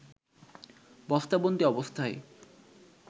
বস্তাবন্দি অবস্থায়